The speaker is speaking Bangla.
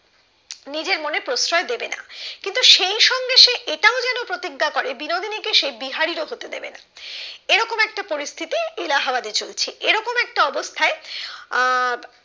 নিজের মনে প্রশ্রয় দেবে না কিন্তু সেই সঙ্গে সে এটাও যেন প্রতিজ্ঞা করে যে বিনোদিনী কে সে বিহারীর ও হতে দেবে না এরকম একটা পরিস্থিতি এলাহাবাদে চলছে এরকম একটা অবস্থায় আহ